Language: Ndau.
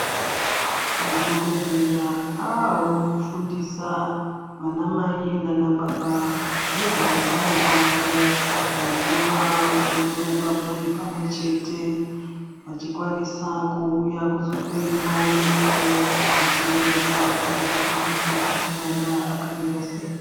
Madhokodheya aawo kufundisa vanamai naanababa nezveutano hwavo hwekuva vanoronga mhuri vari pamwe chete, vachikwanisa kuuya kuzohloiwa ndani yavo, zvichionekwa pachivhitivhiti ,kuti mwana akamira sei.